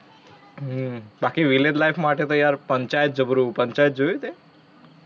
હમ બાકી village life માંટે તો યાર પંચાયત જબરું છે. પંચાયત જોયું તે?